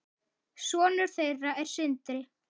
Sonur þeirra er Sindri.